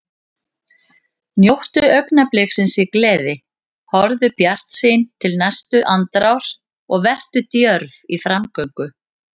Njóttu augnabliksins í gleði, horfðu bjartsýn til næstu andrár og vertu djörf í framgöngu.